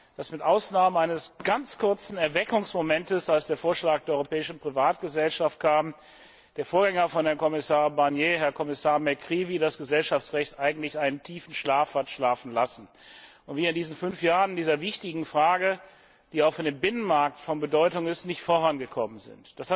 dass mit Ausnahme eines ganz kurzen Erweckungsmomentes, als der Vorschlag der europäischen Privatgesellschaft kam, der Vorgänger von Herrn Kommissar Barnier, der Kommissar McGreevy, das Gesellschaftsrecht eigentlich einen tiefen Schlaf hat schlafen lassen und wir in diesen fünf Jahren in dieser wichtigen Frage, die auch für den Binnenmarkt von Bedeutung ist, nicht vorangekommen sind.